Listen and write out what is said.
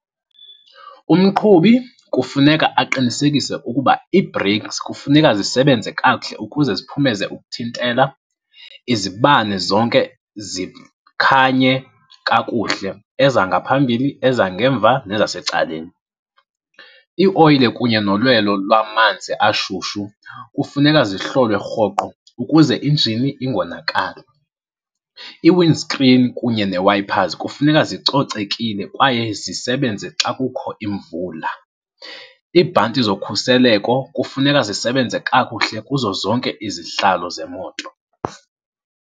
Umqhubi kufuneka aqinisekise ukuba ii-breaks kufuneka zisebenze kakuhle ukuze ziphumeze ukuthintela. Izibane zonke zikhanye kakuhle, ezangaphambili, ezangemva nezasecaleni. Iioyile kunye nolwelo lwamanzi ashushu kufuneka zihlolwe rhoqo ukuze injini ingonakali. I-wind screen kunye ne-wipers kufuneka zicocekile kwaye zisebenze xa kukho imvula. Iibhanti zokhuseleko kufuneka zisebenze kakuhle kuzo zonke izihlalo zemoto.